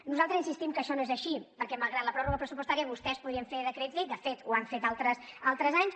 nosaltres insistim que això no és així perquè malgrat la pròrroga pressupostària vostès podrien fer decrets llei de fet ho han fet altres anys